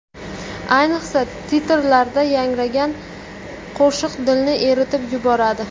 Ayniqsa titrlarda yangragan qo‘shiq dilni eritib yuboradi.